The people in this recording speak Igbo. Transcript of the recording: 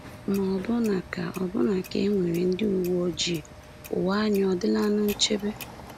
Ma ọbụna ka ọbụna ka e nwere ndị uwe ojii, ụwa anyị ọ̀ dịlanụ nchebe?